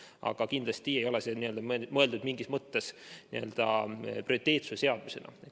Aga kindlasti ei ole see mõeldud mitte mingis mõttes n-ö prioriteetsuse seadusena.